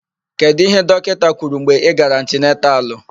Kedụ íhé dọkịta kwuru mgbe ị gara antinantalụ?